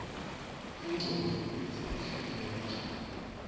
ingqondvo kitsi ihleleke njani